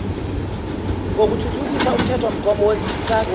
ngothuthukisa umthethomgomo wezinsizakalo